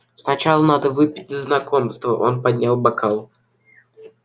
сначала надо выпить за знакомство он поднял бокал